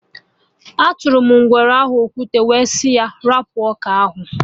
Atụrụ m ngwere ahụ okwute, wee sị ya 'rapụ ọka ahụ!'